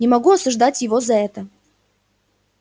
не могу осуждать его за это